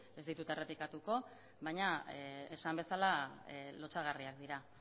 ez ditut errepikatuko baina esan bezala lotsagarriak dira